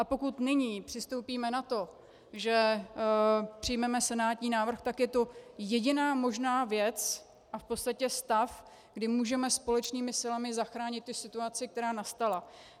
A pokud nyní přistoupíme na to, že přijmeme senátní návrh, tak je to jediná možná věc a v podstatě stav, kdy můžeme společnými silami zachránit tu situaci, která nastala.